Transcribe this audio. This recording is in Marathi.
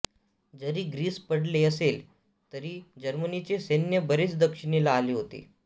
जरी ग्रीस पडले असले तरी जर्मनीचे सैन्य बरेच दक्षिणेला आले होते